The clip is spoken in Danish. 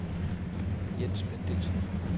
Jens Bendixen